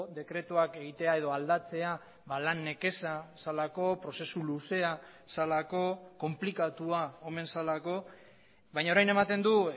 dekretuak egitea edo aldatzea lan nekeza zelako prozesu luzea zelako konplikatua omen zelako baina orain ematen du